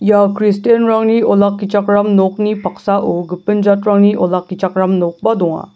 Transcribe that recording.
ia kristianrangni olakkichakram nokni paksao gipin jatrangni olakkichakram nokba donga.